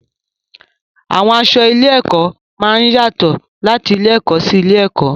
Àwọn aṣọ ilé-ẹ̀kọ́ máa ń yàtọ̀ láti ilé-ẹ̀kọ́ sí ilé-ẹ̀kọ́.